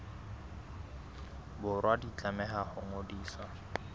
borwa di tlameha ho ngodiswa